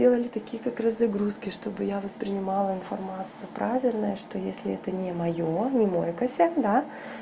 делали такие как раз загрузки чтобы я воспринимала информация правильная что если это не моё не мой косяк да